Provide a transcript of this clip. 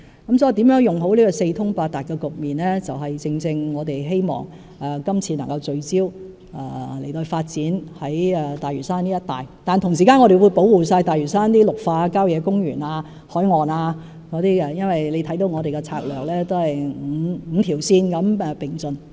如何善用這個四通八達的局面，正是我們希望今次能夠聚焦發展大嶼山一帶的原因，但同時我們會完全保護大嶼山的綠化地帶、郊野公園、海岸等，因為大家可看到我們的策略是5條線並進的。